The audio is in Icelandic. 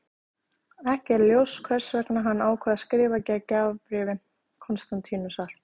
Ekki er ljóst hvers vegna hann ákvað að skrifa gegn gjafabréfi Konstantínusar.